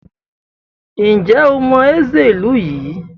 Ǹjẹ́ o mọ Nze ìlú yìí?